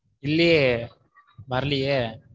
இல்லையே வரலையே.